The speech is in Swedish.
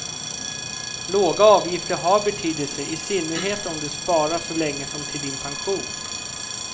Låga avgifter har betydelse, i synnerhet om du sparar så länge som till din pension.